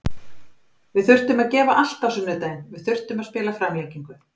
Við þurftum að gefa allt á sunnudaginn, við þurftum að spila framlengingu.